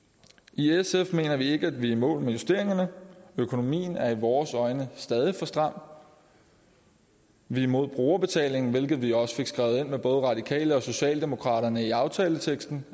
i sf mener vi ikke vi er i mål med justeringerne økonomien er i vores øjne stadig for stram vi er imod brugerbetaling hvilket vi også fik skrevet ind med både radikale og socialdemokraterne i aftaleteksten